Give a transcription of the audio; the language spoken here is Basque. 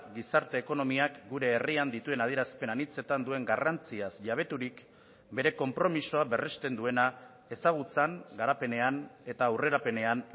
gizarte ekonomiak gure herrian dituen adierazpen anitzetan duen garrantziaz jabeturik bere konpromisoa berrezten duena ezagutzan garapenean eta aurrerapenean